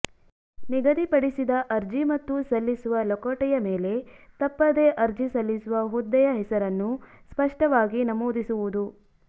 ನಿಗದಿಪಡಿಸಿದ ಅರ್ಜಿ ಮತ್ತು ಸಲ್ಲಿಸುವ ಲಕೋಟೆಯ ಮೇಲೆ ತಪ್ಪದೇ ಅರ್ಜಿ ಸಲ್ಲಿಸುವ ಹುದ್ದೆಯ ಹೆಸರನ್ನು ಸ್ಪಷ್ಟವಾಗಿ ನಮೂದಿಸುವುದು